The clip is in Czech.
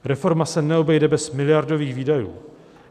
"Reforma se neobejde bez miliardových výdajů.